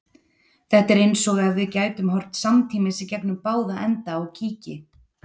Þetta er eins og ef við gætum horft samtímis í gegnum báða enda á kíki.